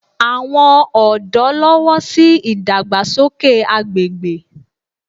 Àwọn ọ̀dọ́ lọ́wọ́ sí ìdàgbàsókè agbègbè